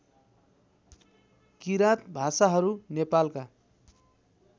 किराँत भाषाहरू नेपालका